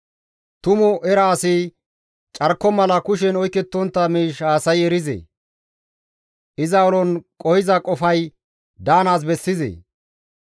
«Tumu era asi carko mala kushen oykettontta miish haasayi erizee? Iza ulon qohiza qofay daanaas bessizee?